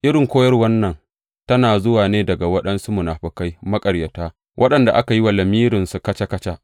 Irin koyarwan nan tana zuwa ne daga waɗansu munafukai maƙaryata, waɗanda aka yi wa lamirinsu kaca kaca.